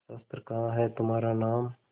शस्त्र कहाँ है तुम्हारा नाम